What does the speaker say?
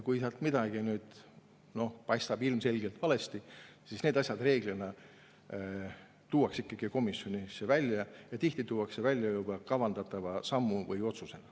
Kui midagi paistab ilmselgelt valesti olevat, siis need asjad reeglina tuuakse ikkagi komisjonis välja ja tihti tuuakse välja juba kavandatava sammu või otsusega.